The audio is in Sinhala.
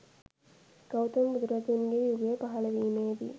ගෞතම බුදුරජුන්ගේ යුගය පහළ වීමේදී